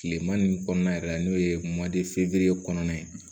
Tilema nin kɔnɔna yɛrɛ la n'o ye kɔnɔna ye